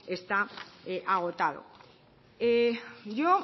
está agotado yo